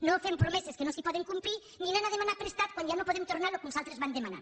no fem promeses que no es poden complir ni anant a demanar prestat quan ja no podem tornar el que uns altres van demanar